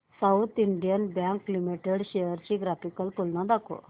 south Indian Bank Limited shares ची graphical तुलना दाखव